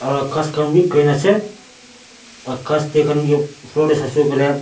aro ghas khan bi green ase ghas tae khan kae saishey koilae--